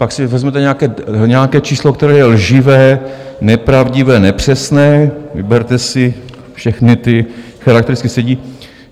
Pak si vezmete nějaké číslo, které je lživé, nepravdivé, nepřesné, vyberte si, všechny ty charakteristiky sedí.